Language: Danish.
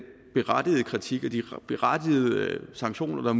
berettigede kritik og de berettigede sanktioner